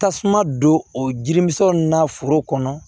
Tasuma don o jirimisɛnnin na foro kɔnɔ